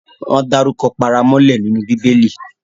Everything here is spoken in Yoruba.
Wọ́n dárukọ paramọ́lẹ nínú Bíbẹlì